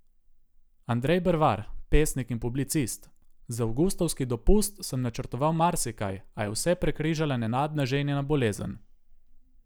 Andrej Brvar, pesnik in publicist: "Za avgustovski dopust sem načrtoval marsikaj, a je vse prekrižala nenadna ženina bolezen.